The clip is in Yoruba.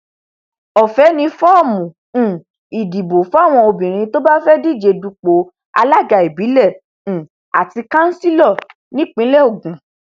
ọfẹ ni fọọmù um ìdìbò fáwọn obìnrin tó bá fẹẹ díje dupò alága ìbílẹ um àti kansílọ nípìnlẹ ogun